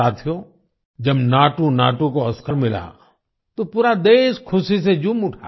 साथियो जब नाटूनाटू को ओस्कार मिला तो पूरा देश खुशी से झूम उठा